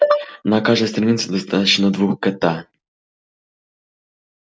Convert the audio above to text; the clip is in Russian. на каждой станции достаточно двух кт